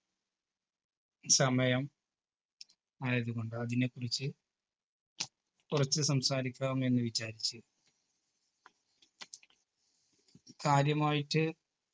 സമയം ആയത് കൊണ്ട് അതിനെക്കുറിച്ച് കുറച്ച് സംസാരിക്കാം എന്ന് വിചാരിച്ച് കാര്യമായിറ്റ്